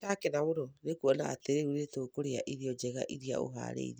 Nĩ ndakena mũno nĩ kuona atĩ rĩu nĩ tũkũrĩa irio njega iria ũhaarĩirie.